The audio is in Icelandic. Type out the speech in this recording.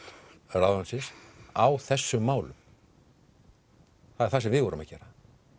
ráðuneytisins á þessum málum það er það sem við vorum að gera